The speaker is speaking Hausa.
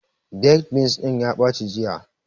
Baked beans ɗin ya ɓaci jiya